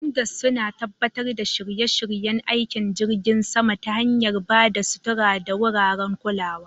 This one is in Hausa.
Hangars suna tabbatar da shirye-shiryen aikin jirgin sama ta hanyar ba da sutura da wuraren kulawa.